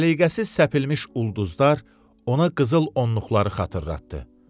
Səliqəsiz səpilmiş ulduzlar ona qızıl onluqları xatırlatdı.